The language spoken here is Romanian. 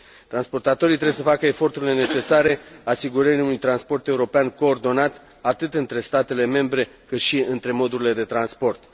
Transportatorii trebuie să facă eforturile necesare asigurării unui transport european coordonat atât între statele membre, cât și între modurile de transport.